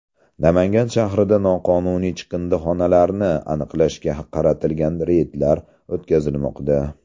Namangan shahrida noqonuniy chiqindixonalarni aniqlashga qaratilgan reydlar o‘tkazilmoqda.